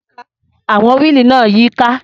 Àwọn wíìlì náà ń yíká.